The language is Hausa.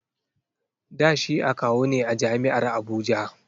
Da shi akawu ne a jam'iar Abuja